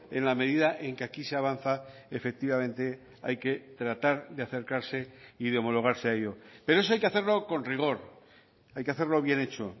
en la medida en que aquí se avanza efectivamente hay que tratar de acercarse y de homologarse a ello pero eso hay que hacerlo con rigor hay que hacerlo bien hecho